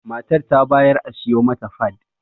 Matar ta bayar a siyo mata fad